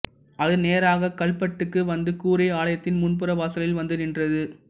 அது நேராக கல்பட்டுக்கு வந்து கூரை ஆலயத்தின் முன்புற வாசலில் வந்து நின்றது